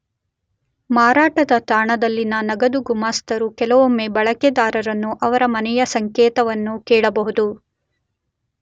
ಮಾರಾಟದ ತಾಣದಲ್ಲಿನ ನಗದು ಗುಮಾಸ್ತರು ಕೆಲವೊಮ್ಮೆ ಬಳಕೆದಾರರನ್ನು ಅವರ ಮನೆಯ ಸಂಕೇತವನ್ನು ಕೇಳಬಹುದು.